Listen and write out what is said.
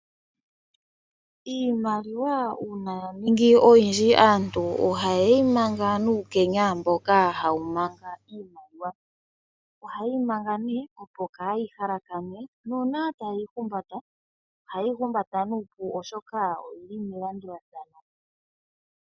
Iimaliwa uuna yaningi oyindji aantu ohayeyi manga nuukenya mboka hawu manga iimaliwa. Ohayeyi manga opo kaayi halakane. Nuuna tayeyi humbata nuupu, oshoka oyili melandulathano.